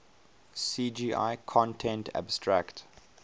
cgi content abstract